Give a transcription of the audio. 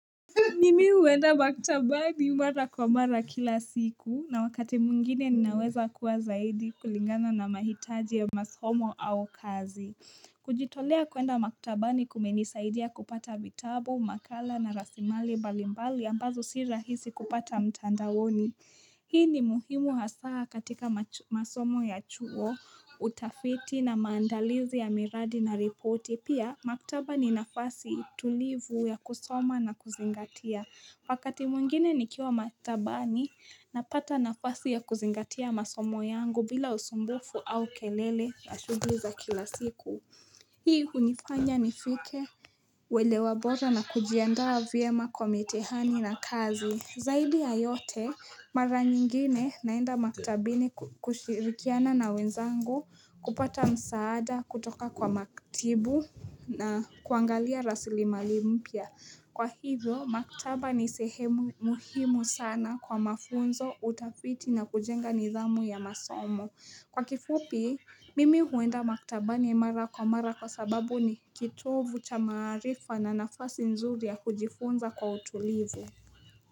Nimi huenda maktabani mara kwa mara kila siku na wakati mwingine ninaweza kuwa zaidi kulingana na mahitaji ya masomo au kazi. Kujitolea kuenda maktabani kumenisaidia kupata vitabu, makala na rasilimali mbalimbali ambazo sirahisi kupata mtandaoni. Hii ni muhimu hasaa katika masomo ya chuo, utafiti na maandalizi ya miradi na ripoti. Pia, maktaba ni nafasi tulivu ya kusoma na kuzingatia. Wakati mwingine nikiwa maktaba ninapata nafasi ya kuzingatia masomo yangu bila usumbufu au kelele ya shughuli za kila siku. Hii hunifanya nifike uwelewa bora na kujiandaa vyema kwa mitihani na kazi. Zaidi ya yote, mara nyingine naenda maktabini kushirikiana na wenzangu, kupata msaada, kutoka kwa maktibu na kuangalia rasilimali mpya. Kwa hivyo, maktaba ni sehemu muhimu sana kwa mafunzo, utafiti na kujenga nidhamu ya masomo. Kwa kifupi, mimi huenda maktabani mara kwa mara kwa sababu ni kitovu cha maarifa na nafasi nzuri ya kujifunza kwa utulivu.